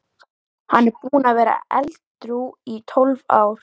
Hann er búinn að vera edrú í tólf ár.